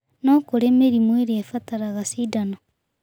No kũrĩ mĩrimũ ĩrĩa ĩbataraga cindano